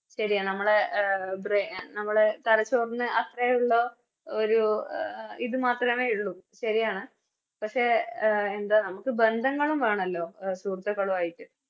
ശെരിയാ നമ്മള് എ ബ്രെ നമ്മളെ തലച്ചോറിന് അത്രേ ഉള്ള ഒരു ഇത് മാത്രേ ഉള്ളു പക്ഷെ എ എന്താ നമുക്ക് ബന്ധങ്ങളും വേണല്ലോ ഓ സുഹൃത്തുക്കളുവായിട്ട്